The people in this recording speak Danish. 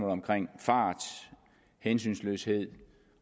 omkring fart hensynsløshed